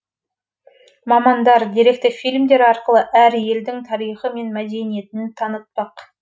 мамандар деректі фильмдер арқылы әр елдің тарихы мен мәдениетін танытпақ